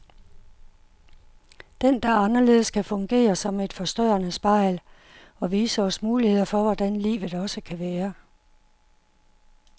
Den, der er anderledes, kan fungere som et forstørrende spejl, og vise os muligheder for hvordan livet også kan være.